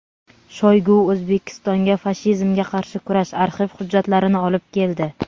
Shoygu O‘zbekistonga "fashizmga qarshi kurash" arxiv hujjatlarini olib keldi.